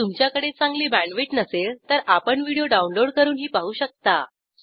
जर तुमच्याकडे चांगली बॅण्डविड्थ नसेल तर आपण व्हिडिओ डाउनलोड करूनही पाहू शकता